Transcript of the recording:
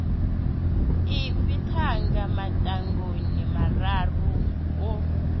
ipfi thanga mafhungoni mararu o